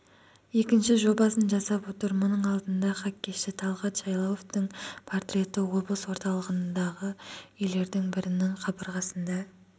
екінші жобасын жасап отыр мұның алдында хоккейші талғат жайлауовтың портреті облыс орталығындағы үйлердің бірінің қабырғасында